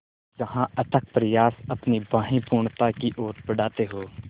जहाँ अथक प्रयास अपनी बाहें पूर्णता की ओर बढातें हो